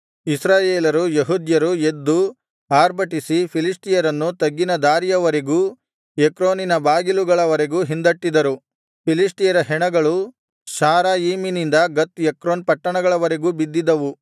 ಇಸ್ರಾಯೇಲರು ಯೆಹೂದ್ಯರು ಎದ್ದು ಆರ್ಭಟಿಸಿ ಫಿಲಿಷ್ಟಿಯರನ್ನು ತಗ್ಗಿನ ದಾರಿಯವರೆಗೂ ಎಕ್ರೋನಿನ ಬಾಗಿಲುಗಳವರೆಗೂ ಹಿಂದಟ್ಟಿದರು ಫಿಲಿಷ್ಟಿಯರ ಹೆಣಗಳು ಶಾರಯಿಮಿನಿಂದ ಗತ್ ಎಕ್ರೋನ್ ಪಟ್ಟಣಗಳವರೆಗೂ ಬಿದ್ದಿದ್ದವು